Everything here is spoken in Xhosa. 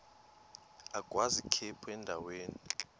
agwaz ikhephu endaweni